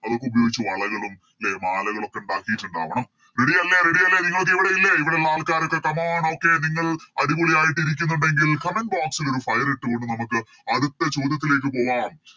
അതൊക്കെ ഉപയോഗിച്ച് വളകളും ലെ മാലകളൊക്കെ ഇണ്ടാക്കിറ്റിണ്ടാവണം Ready അല്ലെ Ready അല്ലെ നിങ്ങളൊക്കെ ഇവിടില്ലെ ഇവിടിള്ള ആൾക്കാരൊക്കെ come on Okay നിങ്ങൾ അടിപൊളിയായിട്ട് ഇരിക്കുന്നുണ്ടെങ്കിൽ Comment box ൽ ഒരു Fire ഇട്ടു കൊണ്ട് നമുക്ക് അടുത്ത ചോദ്യത്തിലേക്ക് പോവാം